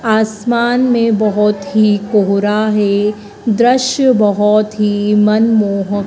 आसमान में बहोत ही कोहरा है दृश्य बहोत ही मन मोहक--